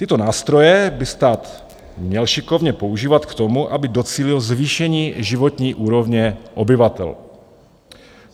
Tyto nástroje by stát měl šikovně používat k tomu, aby docílil zvýšení životní úrovně obyvatel.